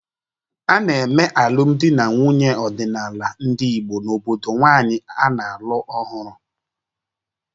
A na-eme alụmdi na nwunye ọdịnala ndị Igbo n’obodo nwanyị a na-alụ ọhụrụ.